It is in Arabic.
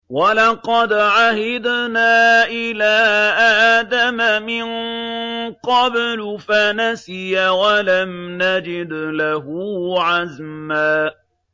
وَلَقَدْ عَهِدْنَا إِلَىٰ آدَمَ مِن قَبْلُ فَنَسِيَ وَلَمْ نَجِدْ لَهُ عَزْمًا